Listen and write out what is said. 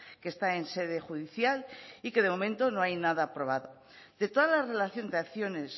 que está en sede judicial y que de momento no hay nada aprobado de toda la relación de acciones